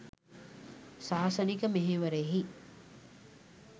ශාසනික මෙහෙවරෙහි